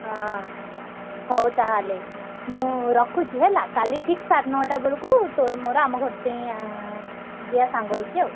ହଁ ହଉ ତାହେଲେ। ମୁଁ ରଖୁଛି ହେଲା କାଲି ଠିକ୍ ସାଢେ ନଅଟା ବେଳକୁ ତୋର ମୋର ଆମ ଘର ଟେଇଁ ଆଁ ଯିଆ ସାଙ୍ଗ ହେଇକି ଆଉ।